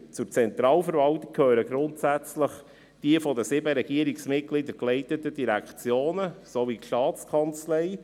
Zur Zentralverwaltung gehören grundsätzlich die von den sieben Regierungsmitgliedern geleiteten Direktionen sowie die Staatskanzlei.